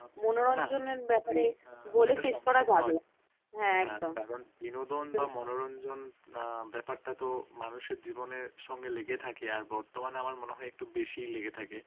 মনোরণঞ্জন ব্যাপারটা তো মানুষের জীবনের সঙ্গে লেগে থাকে, আর বর্তমানে মনে হয় একটু বেশি লেগে থাকে৷